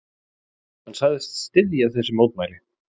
Hann sagðist styðja þessi mótmæli.